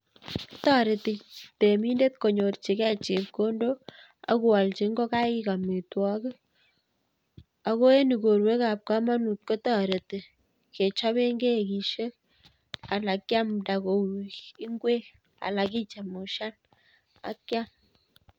Toretii reminder konyorchigei chepkondok ak koolyii ingokaik amitwogiik. Ako en igorwekab komonut kotoretii kechobeen kegisiek anan kiamdaa koik ingwek, Alan kichemushan ak kiam